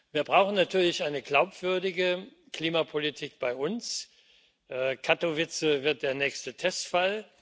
Wir brauchen natürlich eine glaubwürdige Klimapolitik bei uns. Katowice wird der nächste Testfall.